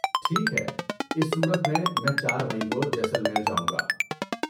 ٹھیک ہے اس صورت میں، میں چار مئی کو جیسلمیر جاؤں گا